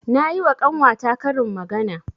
Nayi wa ƙanwa ta karin magana.